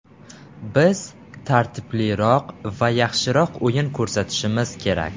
Biz tartibliroq va yaxshiroq o‘yin ko‘rsatishimiz kerak.